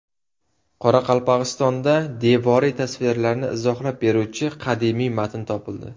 Qoraqalpog‘istonda devoriy tasvirlarni izohlab beruvchi qadimiy matn topildi.